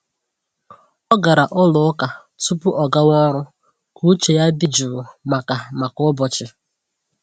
Ọ gara ụlọ ụka tupu ọgawa ọrụ ka uche ya dị jụụ maka maka ụbọchị.